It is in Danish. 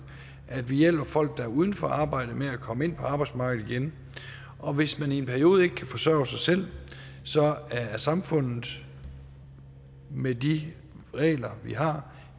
at vi hjælper folk der er uden for arbejde med at komme ind på arbejdsmarkedet igen og hvis man i en periode ikke kan forsørge sig selv er samfundet med de regler vi har